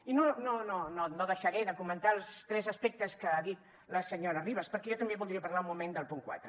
i no deixaré de comentar els tres aspectes que ha dit la senyora ribas perquè jo també voldria parlar un moment del punt quatre